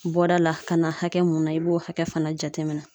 Bɔda la ka na hakɛ mun na, i b'o hakɛ fana jateminɛ.